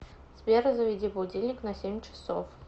сбер заведи будильник на семь часов